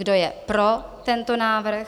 Kdo je pro tento návrh?